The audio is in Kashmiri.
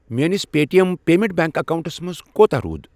میٲنِس Paytm payments bank accounts منٛز کوٗتاہ روٗد؟